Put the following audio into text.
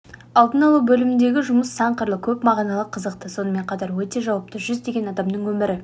алдын алу бөліміндегі жұмыс сан қырлы көп мағыналы қызықты сонымен қатар өте жауапты жүздеген адамның өмірі